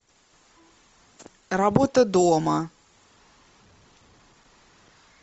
работа дома